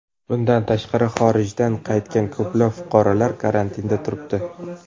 Bundan tashqari, xorijdan qaytgan ko‘plab fuqarolar karantinda turibdi.